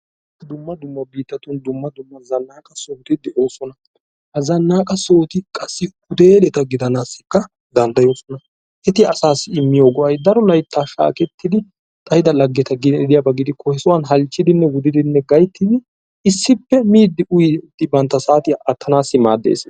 Dumma dumma biittatun dumma dumma zannaqa sohoti de"oosona. Ha zannaqa sohoti qassi huteeleta gidanaassikka danddayoosona. Eti asaassi immiyo go"ayi daro laytta shaaketti uttidi xayida laggeta gidiyaba gidikko he sohuwan halchchidinne wudidi gayttidi issippe miiddi uyiiddi bantta saatiya aattanaassi maaddes.